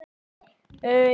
Það er verið að banka!